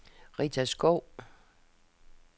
Rita Skou